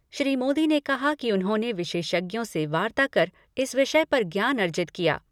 श्री मोदी ने कहा कि उन्होंने विशेषज्ञों से वार्ता कर इस विषय पर ज्ञान अर्जित किया।